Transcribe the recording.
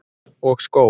Og skó.